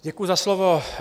Děkuji za slovo.